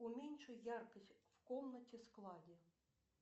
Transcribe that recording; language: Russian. уменьши яркость в комнате складе